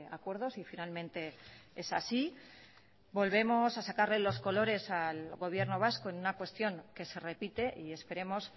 acuerdo si finalmente es así volvemos a sacarle los colores al gobierno vasco en una cuestión que se repite y esperemos